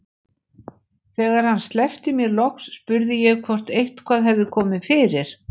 Þegar hann sleppti mér loks spurði ég hvort eitthvað hefði komið fyrir.